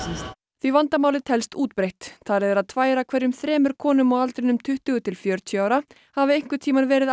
því vandamálið telst útbreitt talið er að tvær af hverjum þremur konum á aldrinum tuttugu til fjörutíu ára hafi einhvern tímann verið